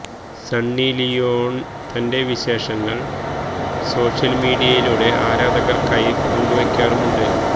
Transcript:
Sunny Leone തന്റെ വിശേഷങ്ങള് social മീഡിയയിലൂടെ ആരാധകര്ക്കായി പങ്കുവെയ്ക്കാറുമുണ്ട്